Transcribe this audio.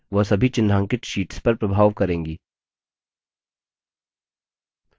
आप जो कुछ भी करेंगे वह सभी चिन्हांकित शीट्स पर प्रभाव करेंगी